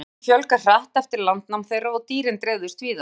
Hreindýrunum fjölgaði hratt eftir landnám þeirra og dýrin dreifðust víða.